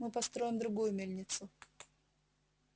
мы построим другую мельницу